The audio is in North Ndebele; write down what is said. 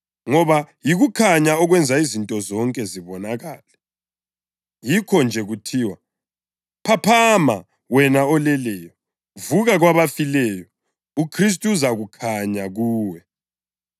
ngoba yikukhanya okwenza izinto zonke zibonakale. Yikho-nje kuthiwa: “Phaphama, wena oleleyo, vuka kwabafileyo, uKhristu uzakhanya kuwe.”